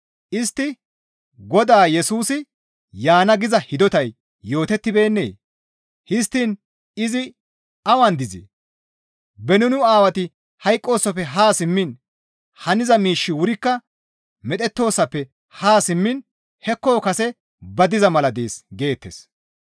Istti, «Godaa Yesusi, ‹Yaana› giza hidotay yootettibeennee? Histtiin izi awan dizee? Beni nu aawati hayqqoosofe haa simmiin, haniza miishshi wurikka medhettoosoppe haa simmiin hekko kase ba diza mala dees» geettes.